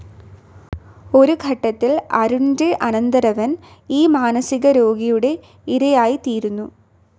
ഒരു ഘട്ടത്തിൽ അരുൺന്റെ അനന്തരവൻ ഈ മാനസികരോഗിയുടെ ഇരയായിത്തീരുന്നു.